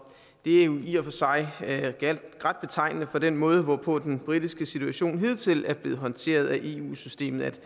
det er jo i og for sig ret betegnende for den måde hvorpå den britiske situation hidtil er blevet håndteret af eu systemet